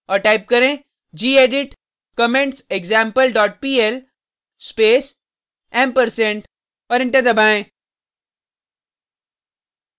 और टाइप करें gedit commentsexample dot pl space & और एंटर दबाएँ